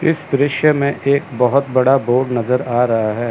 इस दृश्य में एक बहुत बड़ा बोर्ड नजर आ रहा है।